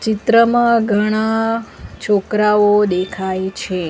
ચિત્રમાં ઘણા છોકરાઓ દેખાય છે.